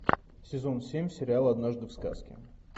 сезон семь сериал однажды в сказке